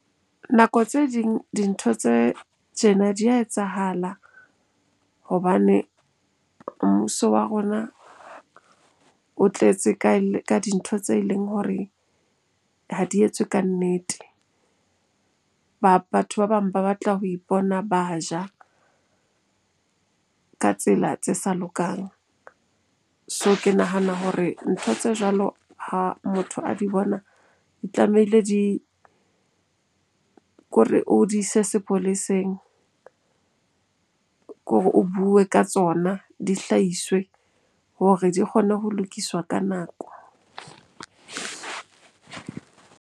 Nako tse ding dintho tse tjena di a etsahala hobane mmuso wa rona o tletse ka dintho tse leng hore ha di etswe ka nnete. Batho ba bang ba batla ho ipona ba ja ka tsela tse sa lokang. So, ke nahana hore ntho tse jwalo ha motho a di bona di tlamehile di, kore o di ise sepoleseng. Kore o bue ka tsona, di hlahiswe hore di kgone ho lokiswa ka nako.